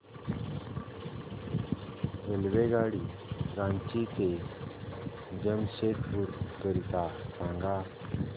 रेल्वेगाडी रांची ते जमशेदपूर करीता सांगा